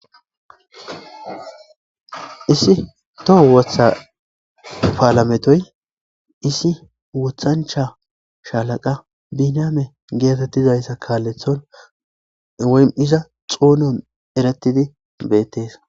isi toho wotha paalametoy isi wothancha shalaqa biname geetettizayssa kaalethon oy7iza xoonon eretidi beettes